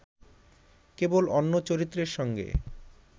কেবল অন্য চরিত্রের সঙ্গে